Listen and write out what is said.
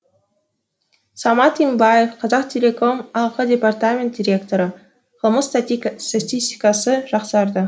самат имбаев қазақтелеком ақ департамент директоры қылмыс статистикасы жақсарды